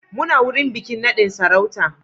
Muna wurin bikin nadin sarauta